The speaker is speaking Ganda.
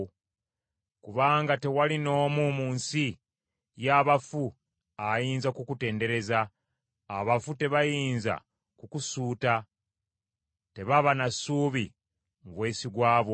Kubanga tewali n’omu mu nsi y’abafu ayinza kukutendereza, abafu tebayinza kukusuuta; tebaba na ssuubi mu bwesigwa bwo.